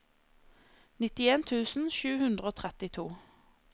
nittien tusen sju hundre og trettito